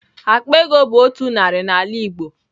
Akpa ego bu otu nari na ala igbo.